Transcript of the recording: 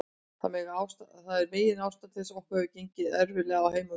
Þetta er megin ástæða þess að okkur hefur gengið erfiðlega á heimavelli.